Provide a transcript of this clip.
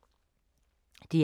DR1